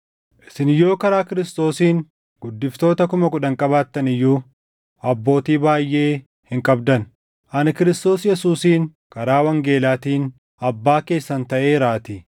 Isin yoo karaa Kiristoosiin guddiftoota kuma kudhan qabaattan iyyuu, abbootii baayʼee hin qabdan; ani Kiristoos Yesuusiin karaa wangeelaatiin abbaa keessan taʼeeraatii.